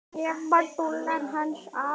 Ég var dúllan hans afa.